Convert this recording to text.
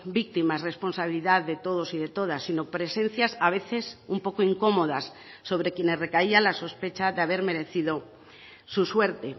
víctimas responsabilidad de todos y de todas sino presencias a veces un poco incomodas sobre quienes recaía la sospecha de haber merecido su suerte